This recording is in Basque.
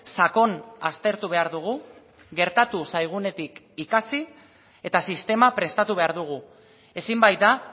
sakon aztertu behar dugu gertatu zaigunetik ikasi eta sistema prestatu behar dugu ezin baita